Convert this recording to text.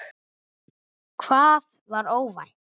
Hvað var óvænt?